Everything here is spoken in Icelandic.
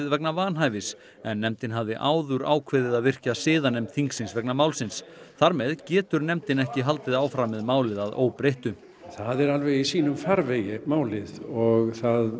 vegna vanhæfis en nefndin hafði áður ákveðið að virkja siðanefnd þingsins vegna málsins þar með getur nefndin ekki haldið áfram með málið að óbreyttu það er alveg í sínum farvegi málið og